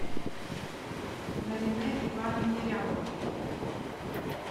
наринэ ивановне рябовой